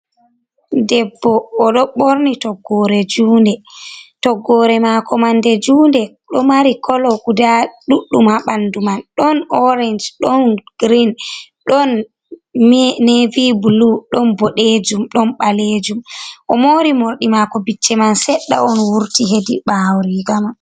Debbo o don borni toggore mako mande junde do mari color guda ɗuɗɗum habandu man don orange, don green, don nevy blu, don bodejum, don balejum, o mori mordi mako bicce man sedda on wurti heedi ɓawo riga man.